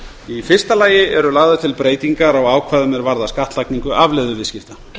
í fyrsta lagi eru lagðar til breytingar á ákvæðum er varða skattlagningu afleiðuviðskipta